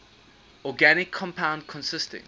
organic compound consisting